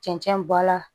Cɛncɛn bɔ la